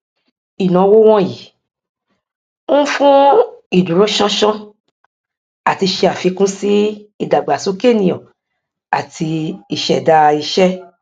ìnáwó wọnyí ń fún ìdúróṣánṣán àti ṣe àfikún sí ìdàgbàsókè ènìyàn àti ìṣẹdá iṣẹ